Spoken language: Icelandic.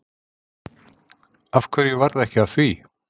Af hverju varð ekki af því?